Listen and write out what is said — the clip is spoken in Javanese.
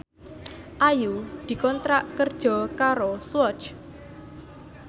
Ayu dikontrak kerja karo Swatch